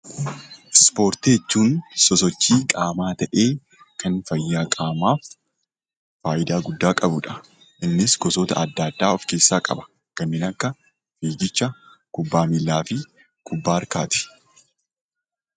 Ispoortii jechuun sosochii qaamaa ta'ee; kan fayyaa qaamaaf faayidaa guddaa qabuu dha. Innis gosoota addaa addaa of keessaa qaba. Kanneen akka kubbaa miillaa fi kibbaa harkaati.